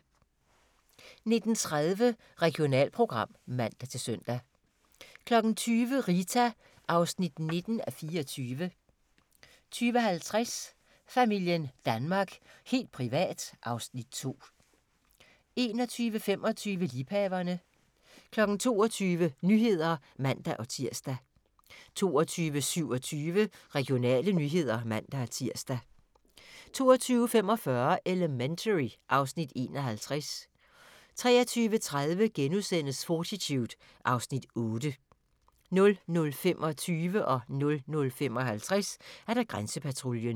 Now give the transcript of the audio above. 19:30: Regionalprogram (man-søn) 20:00: Rita (19:24) 20:50: Familien Danmark – helt privat (Afs. 2) 21:25: Liebhaverne 22:00: Nyhederne (man-tir) 22:27: Regionale nyheder (man-tir) 22:45: Elementary (Afs. 51) 23:30: Fortitude (Afs. 8)* 00:25: Grænsepatruljen 00:55: Grænsepatruljen